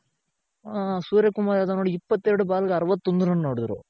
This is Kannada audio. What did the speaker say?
ಸೂರ್ಯ ಕುಮಾರ್ ಇಪ್ಪತ್ತೆರ್ಡ್ ಬಾಲ್ಗೆ ಅರವತ್ತೊಂದು ರನ್ ಹೊಡಿದ್ರು